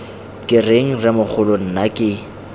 ke reng rremogolo nna ke